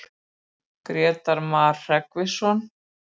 Grétar Mar Hreggviðsson.